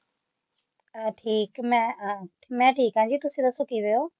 ਮੈ ਠੀਕ ਮੇਂ ਆ ਮੇਂ ਠੀਕ ਜੀ ਤੁਸੀ ਕਿਵੇਂ ਹੋ